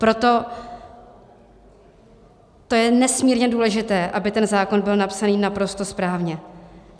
Proto to je nesmírně důležité, aby ten zákon byl napsaný naprosto správně.